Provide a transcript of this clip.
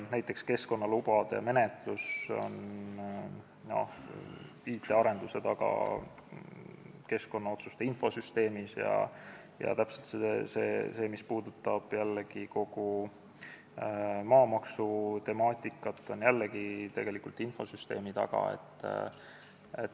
Näiteks on keskkonnalubade menetlus jäänud keskkonnaotsuste infosüsteemi IT-arenduste taha ja see, mis puudutab kogu maamaksutemaatikat, on jällegi infosüsteemi arenduse taga.